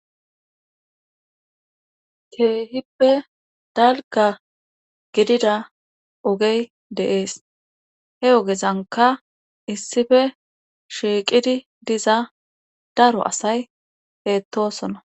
Keehippe dalga gidida ogey deees he ogezanka issife shiiqidi diza daro asay heettosona.